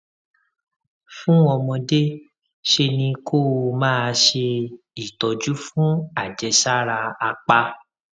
fún ọmọdé ṣe ni kó o máa ṣe ìtọjú fún àjẹsára apá